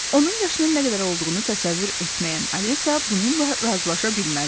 Onun yaşının nə qədər olduğunu təsəvvür etməyən Alisa bununla razılaşa bilməzdi.